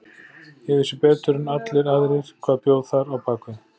Ég vissi betur en allir aðrir hvað bjó þar á bak við.